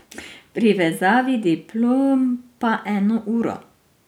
Pri vezavi diplom pa eno uro.